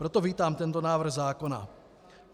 Proto vítám tento návrh zákona.